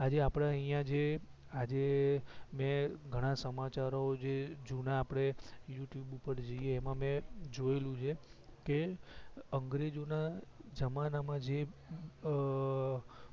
આજે આપડા અહિયાં જે આજે મે ઘણા સમાચારો જે જૂના આપડે યૂ ટ્યુબ ઉપર જોઈએ એમાં મે જોયેલું છે કે અંગ્રેજો ના જમાના માં જે અ